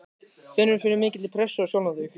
Finnurðu fyrir mikilli pressu á sjálfan þig?